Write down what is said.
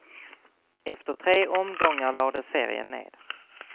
Efter tre omgångar lades serien ned.